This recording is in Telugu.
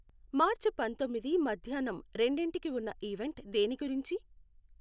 మార్చ్ పంతొమ్మిది మధ్యాహ్నం రెండింటికి ఉన్న ఈవెంట్ దేని గురించి?